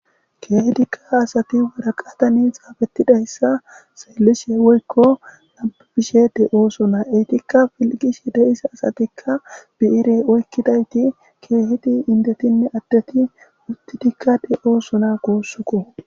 keehidikka asati waraqatani xaapettidayssa xeellishe woykko labishe de ooso naa etikka filqishe deisa asatikka bi7ire oykkidayti keehiti indetinne addeti usti dikkade oosona goossuko